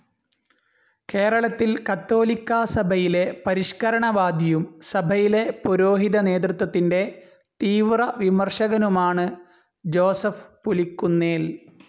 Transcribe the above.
കേരളത്തിൽ കത്തോലിക്കാസഭയിലെ പരിഷ്ക്കരണവാദിയും സഭയിലെ പുരോഹിതനേതൃത്വത്തിൻ്റെ തീവ്രവിമർശകനുമാണ് ജോസഫ് പുലിക്കുന്നേൽ.